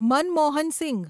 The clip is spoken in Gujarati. મનમોહન સિંઘ